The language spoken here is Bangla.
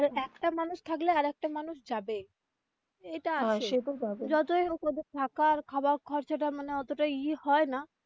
আর একটা মানুষ থাকলে আরেকটা মানুষ যাবেই এটা হয় যতই হোক ওদের থাকা র খাওয়া খরচা টা মানে অত টা ই হয় না.